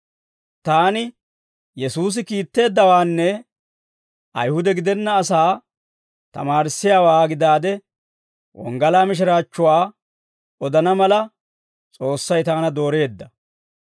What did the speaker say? Taani Yesuusi kiitteeddawaanne Ayihuda gidenna asaa tamaarissiyaawaa gidaade, wonggalaa mishiraachchuwaa odana mala, S'oossay taana dooreedda.